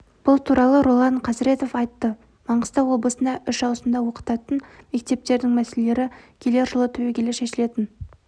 бұл туралы ролан қазіретов айтты маңғыстау облысында үш ауысымда оқытатын мектептердің мәселесі келер жылы түбегейлі шешілетін